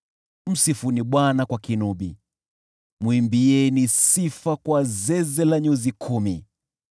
Msifuni Bwana kwa kinubi, mwimbieni sifa kwa zeze la nyuzi kumi.